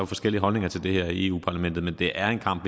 forskellige holdninger til det her i europa parlamentet men det er en kamp